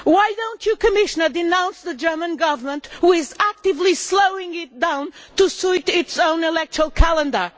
Why do you not, Commissioner, denounce the German Government, which is actively slowing it down to suit its own electoral calendar?